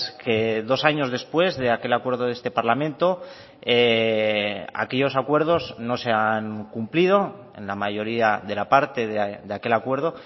que dos años después de aquel acuerdo de este parlamento aquellos acuerdos no se han cumplido en la mayoría de la parte de aquel acuerdo